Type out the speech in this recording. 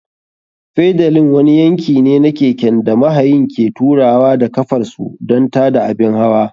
Fedalin wani yanki ne na keken da mahayin ke turawa da ƙafar su don tada abin hawa.